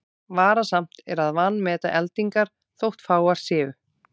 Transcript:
Varasamt er að vanmeta eldingar þótt fáar séu.